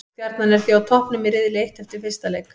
Stjarnan er því á toppnum í riðli eitt eftir fyrsta leik.